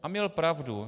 A měl pravdu.